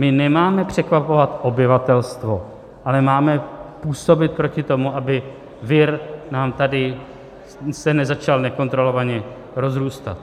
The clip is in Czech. My nemáme překvapovat obyvatelstvo, ale máme působit proti tomu, aby se nám tady vir začal nekontrolovaně rozrůstat.